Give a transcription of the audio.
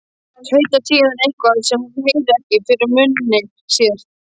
Tautar síðan eitthvað, sem hún heyrir ekki, fyrir munni sér.